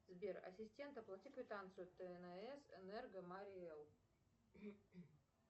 сбер ассистент оплати квитанцию тнс энерго марий эл